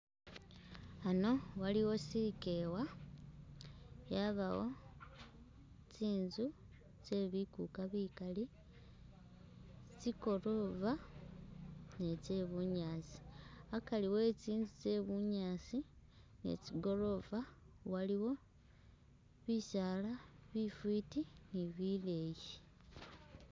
Ano waliwo sikewa, yabawo tsinzu tsebikuka bikaali, tsi'goorova ni tse'bunyaasi akari e'tsinzu tsetsi goorova ni tse'bunyaasi waliwo bisaala bifiti ni bileyi